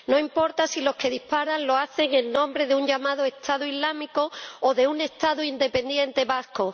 No importa si los que disparan lo hacen en nombre de un llamado Estado Islámico o de un Estado independiente vasco.